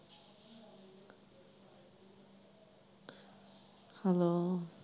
hello